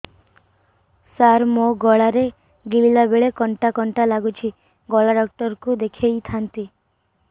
ସାର ମୋ ଗଳା ରେ ଗିଳିଲା ବେଲେ କଣ୍ଟା କଣ୍ଟା ଲାଗୁଛି ଗଳା ଡକ୍ଟର କୁ ଦେଖାଇ ଥାନ୍ତି